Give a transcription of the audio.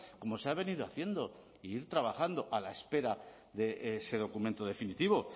como se ha venido haciendo e ir trabajando a la espera de ese documento definitivo